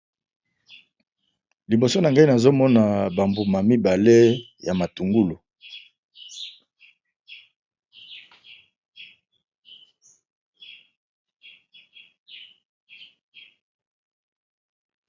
Liboso na ngai nazo mona ba mbuma mibale ya matungulu.